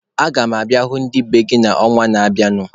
Aga m abịa hụ ndị be gị n'ọnwa na-abịanụ.